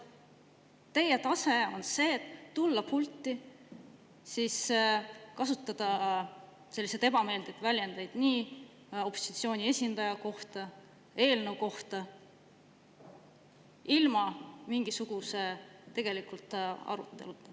Teie tase on tulla pulti ja kasutada opositsiooni esindaja ja eelnõu kohta selliseid ebameeldivaid väljendeid, ilma tegeliku aruteluta.